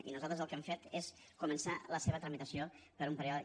i nosaltres el que hem fet és començar la seva tramitació per un període